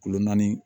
Kulo naani